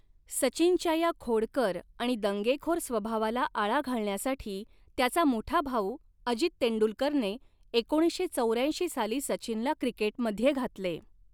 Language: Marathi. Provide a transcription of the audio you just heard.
सचिनच्या या खोडकर आणि दंगेखोर स्वभावाला आळा घालण्यासाठी त्याचा मोठा भाऊ, अजित तेंडुलकरने एकोणीसशे चौऱ्याऐंशी साली सचिनला क्रिकेटमध्ये घातले.